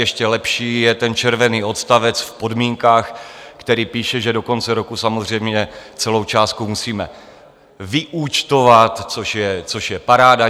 Ještě lepší je ten červený odstavec v podmínkách, který píše, že do konce roku samozřejmě celou částku musíme vyúčtovat, což je paráda.